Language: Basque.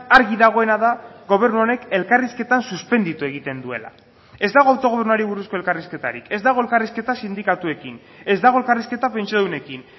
argi dagoena da gobernu honek elkarrizketan suspenditu egiten duela ez dago autogobernuari buruzko elkarrizketarik ez dago elkarrizketa sindikatuekin ez dago elkarrizketa pentsiodunekin